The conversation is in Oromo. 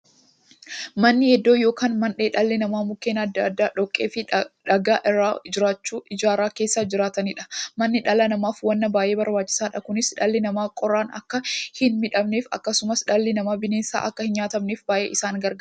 Manni iddoo yookiin mandhee dhalli namaa Mukkeen adda addaa, dhoqqeefi dhagaa irraa ijaarachuun keessa jiraataniidha. Manni dhala namaaf waan baay'ee barbaachisaadha. Kunis, dhalli namaa qorraan akka hinmiidhamneefi akkasumas dhalli namaa bineensaan akka hinnyaatamneef baay'ee isaan gargaara.